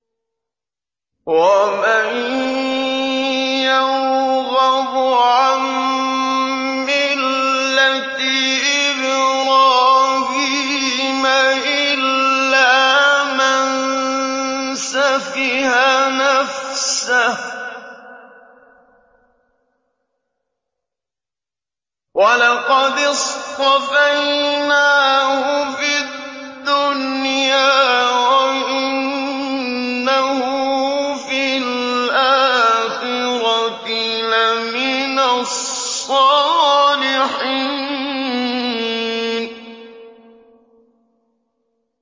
وَمَن يَرْغَبُ عَن مِّلَّةِ إِبْرَاهِيمَ إِلَّا مَن سَفِهَ نَفْسَهُ ۚ وَلَقَدِ اصْطَفَيْنَاهُ فِي الدُّنْيَا ۖ وَإِنَّهُ فِي الْآخِرَةِ لَمِنَ الصَّالِحِينَ